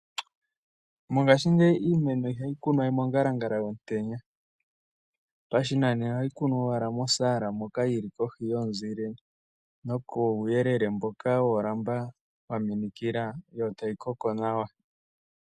Mongaashingeyi iimeno ihayi kunwa we mongalangala yomutenya pashinanena ohati kunwa pehala yili kohi yomuzile nokuuyelele mboka woolamba dhaminikila yotayi koko nawa.